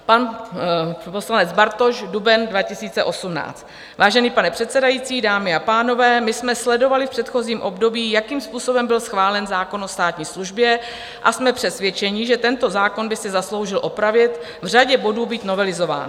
Pan poslanec Bartoš, duben 2018: "Vážený pane předsedající, dámy a pánové, my jsme sledovali v předchozím období, jakým způsobem byl schválen zákon o státní službě, a jsme přesvědčeni, že tento zákon by si zasloužil opravit, v řadě bodů být novelizován.